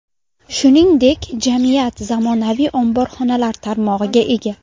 Shuningdek, jamiyat zamonaviy omborxonalar tarmog‘iga ega.